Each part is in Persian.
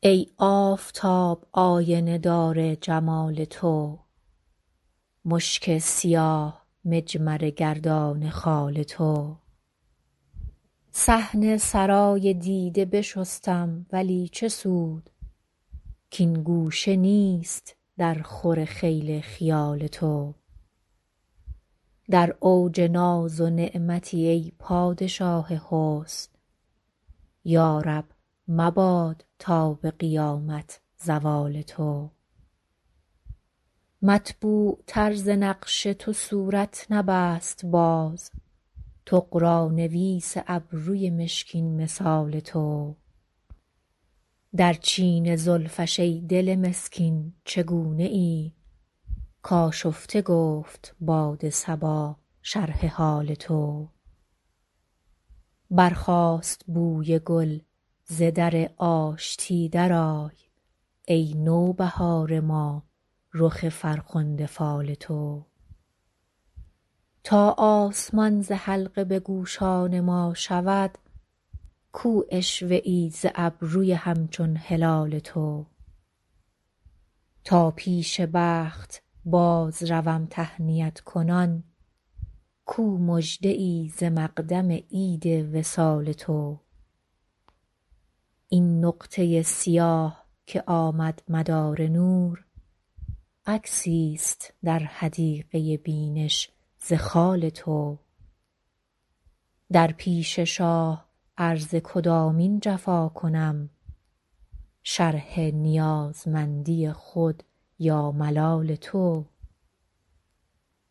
ای آفتاب آینه دار جمال تو مشک سیاه مجمره گردان خال تو صحن سرای دیده بشستم ولی چه سود کـ این گوشه نیست درخور خیل خیال تو در اوج ناز و نعمتی ای پادشاه حسن یا رب مباد تا به قیامت زوال تو مطبوعتر ز نقش تو صورت نبست باز طغرانویس ابروی مشکین مثال تو در چین زلفش ای دل مسکین چگونه ای کآشفته گفت باد صبا شرح حال تو برخاست بوی گل ز در آشتی درآی ای نوبهار ما رخ فرخنده فال تو تا آسمان ز حلقه به گوشان ما شود کو عشوه ای ز ابروی همچون هلال تو تا پیش بخت بازروم تهنیت کنان کو مژده ای ز مقدم عید وصال تو این نقطه سیاه که آمد مدار نور عکسیست در حدیقه بینش ز خال تو در پیش شاه عرض کدامین جفا کنم شرح نیازمندی خود یا ملال تو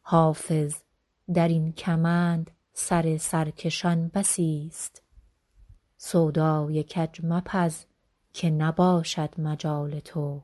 حافظ در این کمند سر سرکشان بسیست سودای کج مپز که نباشد مجال تو